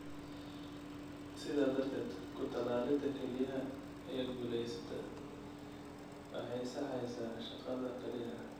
Sidaa darteed, ku-tallaalidda kelyaha ee guuleysta waxay saxaysaa shaqada kelyaha.